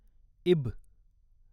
इब